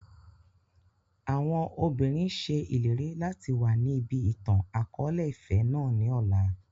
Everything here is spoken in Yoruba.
Àwọn òbinrín ṣe ìlérí láti wá níbí ìtàn akọ̀ọ̀lẹ-ìfẹ́ náà ni ọ̀la.